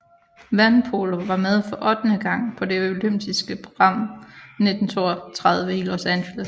Vandpolo var med for ottende gang på det olympiske program 1932 i Los Angeles